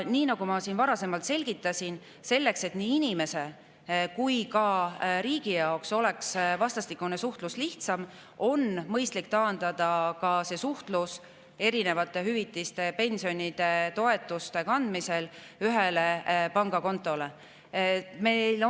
Nagu ma varasemalt selgitasin, selleks, et nii inimese kui ka riigi jaoks oleks vastastikune suhtlus lihtsam, on mõistlik taandada see suhtlus erinevate hüvitiste, pensionide ja toetuste ühe pangakonto peale.